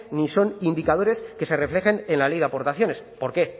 ni son indicadores que se reflejen en la ley de aportaciones por qué